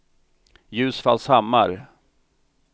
Ljusfallshammar